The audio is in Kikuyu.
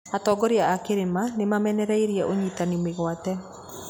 Atongoria a kĩrĩma nĩ mamenereirie ũnyitani mĩgwate.